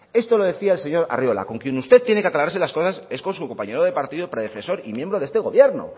esto lo decía el señor arriola con quien usted tiene que aclararse las cosas es con su compañero de partido predecesor y miembro de este gobierno